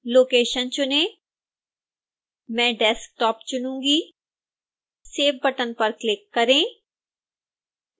location चुनें मैं desktop चुनूंगी save बटन पर क्लिक करें